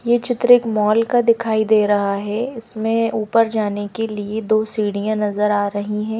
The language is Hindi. ये चित्र एक मॉल का दिखाई दे रहा है इसमें ऊपर जाने के लिए दो सीढ़ियां नजर आ रहीं हैं।